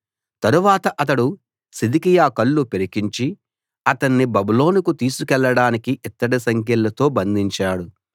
తరువాత అతడు సిద్కియా కళ్ళు పెరికించి అతన్ని బబులోనుకు తీసుకెళ్ళడానికి ఇత్తడి సంకెళ్లతో బంధించాడు